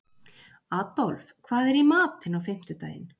Adolf, hvað er í matinn á fimmtudaginn?